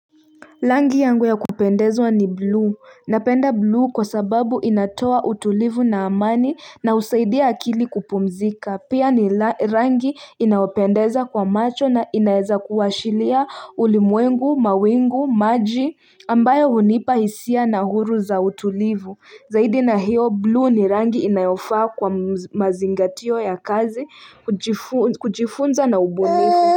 Rangi yangu ya kupendezwa ni bluu. Napenda blue kwa sababu inatoa utulivu na amani, na husaidia akili kupumzika. Pia ni rangi, inaopendeza kwa macho na inaeza kuwashiria ulimwengu, mawingu, maji ambayo hunipa hisia na huru za utulivu. Zaidi na hiyo blue ni rangi inayofaa kwa mazingatio ya kazi, kujifunza na ubunifu.